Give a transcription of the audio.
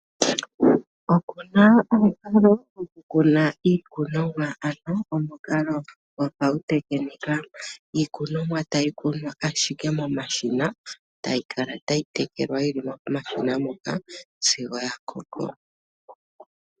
Oku na omukalo gokukuna iikunomwa, ano omukalo goapautekinika moka iikunomwa tayi kunwa ashike momashina, tayi kala tayi tekelwa yi li ashike momashina moka sigo ya koko.